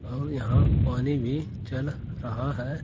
और यहां पानी भी चल रहा है।